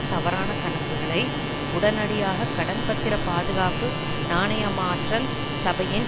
தவறான கணக்குகளை உடனடியாக கடன் பத்திர பாதுகாப்பு நாணயமாற்றல் சபையின்